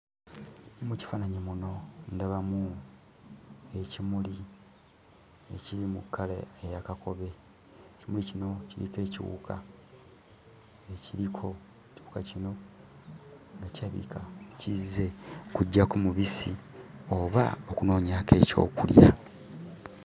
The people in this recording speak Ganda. Mu kifaananyi muno ndabamu ekimuli ekiri mu kkala eya kakobe. Ekimuli kino kiriko ekiwuka ekiriko. Ekiwuka kino nga kirabika kizze kuggyako mubisi oba okunoonyaako ekyokulya.